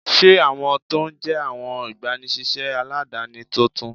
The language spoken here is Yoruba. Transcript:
Ṣé awọn tó ń jẹ́ awọn igbàníṣéṣé aládánì tóntún?